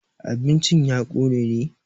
abincin ya Kone ne?